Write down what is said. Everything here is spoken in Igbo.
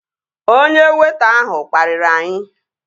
Onye weịta ahụ kpariri anyị